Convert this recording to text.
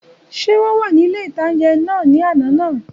Ṣé wọ́n wà ní ilé-ìtánjẹ náà ní àná náà?